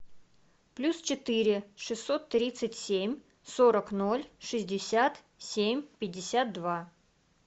плюс четыре шестьсот тридцать семь сорок ноль шестьдесят семь пятьдесят два